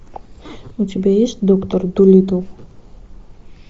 у тебя есть доктор дулитл